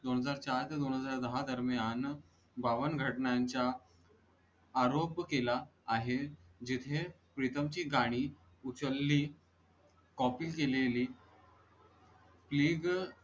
दोन हजार चार ते दोन हजार दाहा दरम्यान बावन घटनांच्या आरोप केला आहे, जिथे प्रीतम ची गाणी उचलली copy केलेली. please